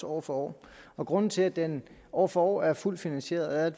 år for år år grunden til at den år for år er fuldt finansieret er at